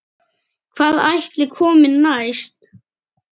Hvað ætli komi næst?